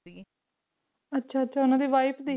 ਅੱਛਾ ਅੱਛਾ ਉਨ੍ਹਾਂ ਦੀ wife ਦੀ